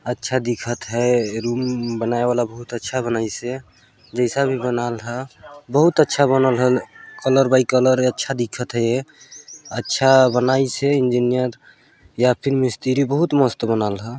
अच्छा दिखत है रूम बनाये वाला बहुत अच्छा बनाइस है जैसा भी बनाल हा बहुत अच्छा बनाल ह कलर बाई कलर अच्छा दिखत है ये अच्छा बनाइस है इंजीनियर या फिर मिस्त्री बहुत मस्त बनल हा--